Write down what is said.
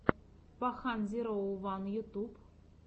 пахан зироу ван ютьюб